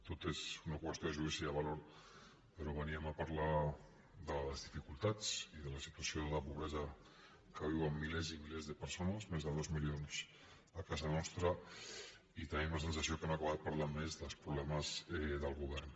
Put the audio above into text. tot és una qüestió de judici de valor però veníem a parlar de les dificultats i de la situació de la pobresa que viuen milers i milers de persones més de dos milions a casa nostra i tenim la sensació que hem acabat parlant més dels problemes del govern